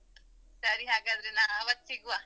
ಸರಿ ಹಾಗಾದ್ರೆ ನಾವ್ ಆವತ್ತ್ ಸಿಗುವ.